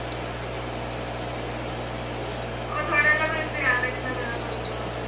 ਉਹ ਥੋੜਾ ਜਾ ਫੇਰ ਧਿਆਨ ਰੱਖਣਾ ਪੈਣਾ ਤੁਹਾਨੂੰ ਆਪ ਹੀ